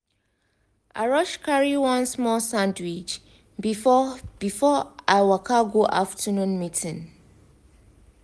i rush carry one small sandwich before before i waka go afternoon meeting.